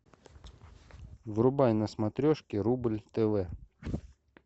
врубай на смотрешке рубль тв